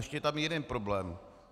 Ještě je tam jiný problém.